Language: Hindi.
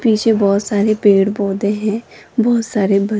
पीछे बहोत सारे पेड़ पौधे है बहोत सारे ब--